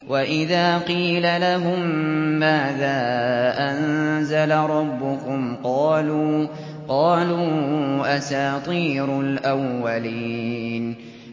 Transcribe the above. وَإِذَا قِيلَ لَهُم مَّاذَا أَنزَلَ رَبُّكُمْ ۙ قَالُوا أَسَاطِيرُ الْأَوَّلِينَ